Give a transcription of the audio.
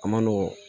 A man nɔgɔn